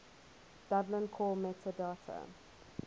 dublin core metadata